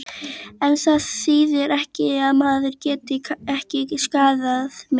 En það þýðir ekki að maðurinn geti ekki skaðað mig.